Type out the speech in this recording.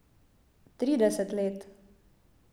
Trideset let?